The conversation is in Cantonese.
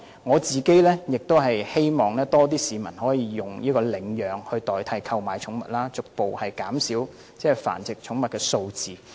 我亦希望較多市民會領養寵物，以代替購買寵物，逐步減少繁殖寵物的數字。